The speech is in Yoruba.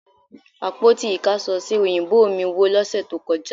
Àpótí ìkáṣọsí ò̀yìnbó mí wó lọ́sẹ̀ tó kọjá